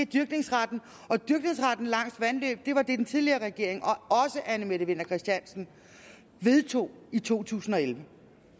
dyrkningsretten og dyrkningsretten langs vandløb var det den tidligere regering og også anne mette winther christiansen vedtog i totusinde og ellevte